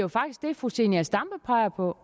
fru zenia stampe peger på